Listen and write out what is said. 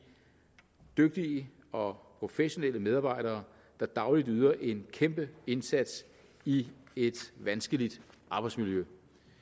dygtige og professionelle medarbejdere der dagligt yder en kæmpe indsats i et vanskeligt arbejdsmiljø